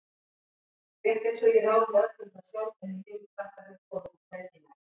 Rétt einsog ég ráði öllu um það sjálf en hinir krakkarnir komi þar hvergi nærri.